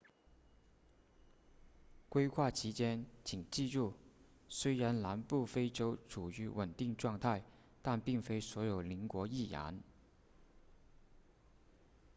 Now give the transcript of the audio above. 规划期间请记住虽然南部非洲处于稳定状态但并非所有邻国亦然